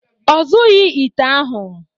Ọ zụọghị ite ụnyahụ